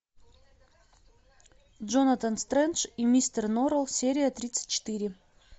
джонатан стрендж и мистер норрелл серия тридцать четыре